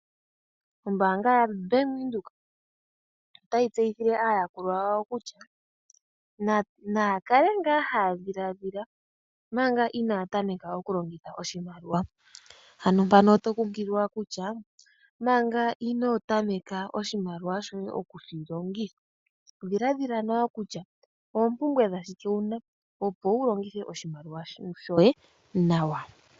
Ombaanga yaBank Windhoek otayi tseyithile aayakulwa yawo kutya naya kale ngaa haya dhilaadhila omanga inaaya tameka oku longitha oshimaliwa, ano mpano oto kunkililwa kutya manga inoo tameka oshimaliwa shoye okushi longitha, dhilaadhila nawa kutya oompumbwe dha shike wuna opo wu longithe oshimaliwa shoye nawa.